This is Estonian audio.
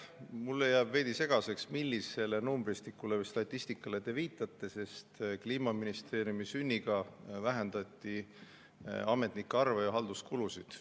Mulle jääb veidi segaseks, millisele numbristikule või statistikale te viitate, sest Kliimaministeeriumi sünniga vähendati ametnike arvu ja halduskulusid.